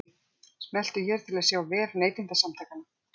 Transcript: Smelltu hér til að sjá vef Neytendasamtakanna